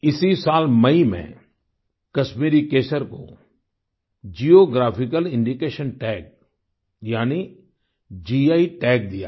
इसी साल मई में कश्मीरी केसर को जियोग्राफिकल इंडिकेशन टैग यानि गी टैग दिया गया